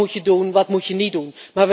Wat moet je doen, wat moet je niet doen?